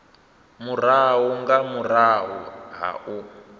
murahu nga murahu ha u